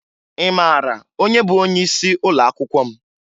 Ị mara onye bụ onyeisi ụlọakwụkwọ m?